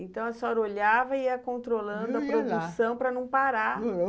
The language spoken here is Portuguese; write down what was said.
Então, a senhora olhava e ia controlando a produção para não parar.